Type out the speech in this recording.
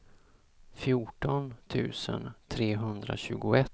fjorton tusen trehundratjugoett